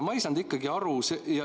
Ma ei saanud ikkagi aru.